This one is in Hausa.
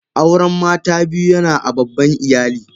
Auren mata biyu yana a babban iyali.